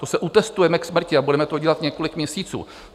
To se utestujeme k smrti a budeme to dělat několik měsíců!